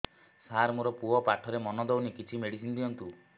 ସାର ମୋର ପୁଅ ପାଠରେ ମନ ଦଉନି କିଛି ମେଡିସିନ ଦିଅନ୍ତୁ